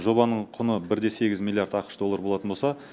жобаның құны бір де сегіз миллиард ақш доллары болатын болса